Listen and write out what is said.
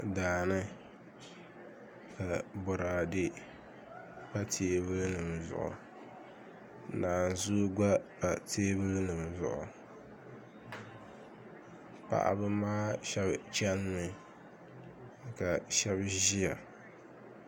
Daani ka boraadɛ pa teebuli nim zuɣu naanzuu gba pa teebuli nim zuɣu paɣaba maa shab chɛnimi ka shab ʒiya